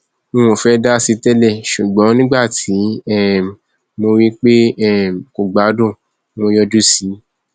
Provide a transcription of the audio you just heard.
n ò fẹẹ dá sí i tẹlẹ ṣùgbọn nígbà tí um mo rí i pé um kò gbádùn mo yọjú sí i